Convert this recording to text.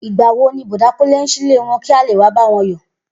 Igbà wo ni Bò̩dá Kúnlé ń silé wo̩n kí a lè wá bá wo̩n yò̩?